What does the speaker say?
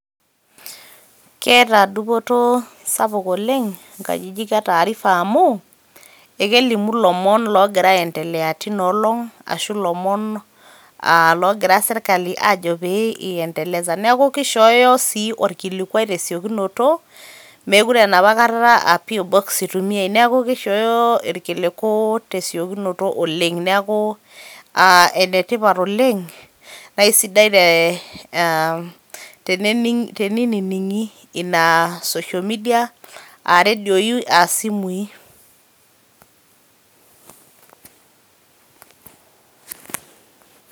keeta dupoto sapuk oleng nkajijik etaarifa amu ekelimu ilomon logira aendelea tino olong ashu ilomon aa logira sirkali ajo pee iendeleze .neku kishooyo sii orkilikwai tesiokinoto mekure enapa kata aa P.o box itumiyay .niaku kishooyo irkiliku tesiokinoto oleng. neku aa enetipat oleng nee isadai te aam teniningi ina [cs[social media a radioi a simui .